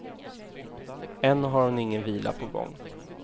Än har hon ingen vila på gång.